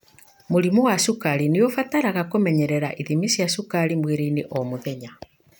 Mũrimũ wa cukari nĩ ũbataraga kũmenyerera ithimi cia cukari mwĩrĩinĩ o muthenya.